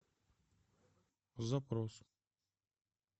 запрос